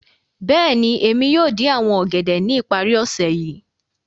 Bẹẹni, Emi yoo din-din awọn ọgbà-ọgbà ni ipari-ọsẹ yii